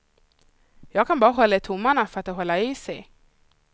Jag kan bara hålla tummarna för att det håller i sig.